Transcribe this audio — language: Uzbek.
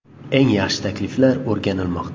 Eng yaxshi takliflar o‘rganilmoqda.